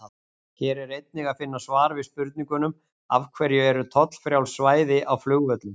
Hér er einnig að finna svar við spurningunum: Af hverju eru tollfrjáls svæði á flugvöllum?